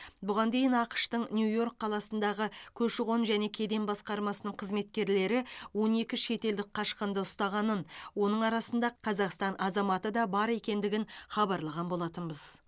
бұған дейін ақш тың нью йорк қаласындағы көші қон және кеден басқармасының қызметкерлері он екі шетелдік қашқынды ұстағанын оның арасында қазақстан азаматы да бар екендігін хабарлаған болатынбыз